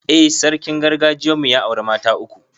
I, sarkin gargajiyan mu ya auri mata uku